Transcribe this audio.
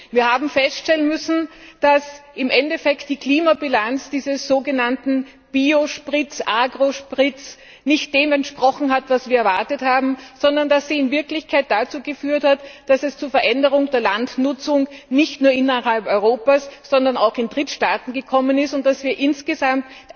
Wir haben feststellen müssen, dass im Endeffekt die Klimabilanz dieses sogenannten Biosprits Agrosprits nicht dem entsprochen hat, was wir erwartet haben, sondern dass sie in Wirklichkeit dazu geführt hat, dass es zu einer Veränderung der Landnutzung nicht nur innerhalb Europas, sondern auch in Drittstaaten gekommen ist und dass wir uns insgesamt